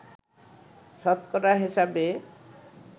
শতকরা হিসেবে